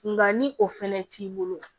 Nka ni o fɛnɛ t'i bolo